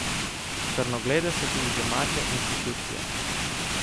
Črnoglede so tudi domače institucije.